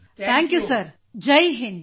ಎಲ್ಲ N C C cadets ಗಳು ಜೈ ಹಿಂದ್ ಸರ್